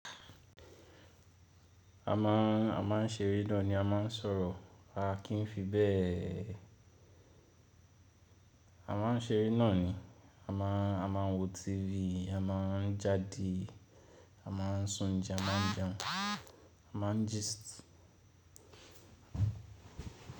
A má, a má ń ṣeré náà ni a má ń sọ̀rọ̀, a kì ń fi bẹ́ẹ̀. A má n ṣeré náà ni, a má, a má ń wo TV, a má ń jáde, a má ń sún jẹun, a má ń jẹun, a má ń gist.